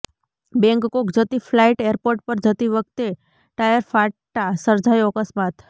Bangkok જતી flight airport પર જતી વખતે ટાયર ફાટતા સર્જાયો અક્સ્માત